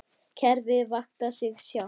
Kerfið vaktar sig sjálft.